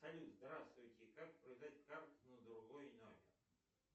салют здравствуйте как продать карту на другой номер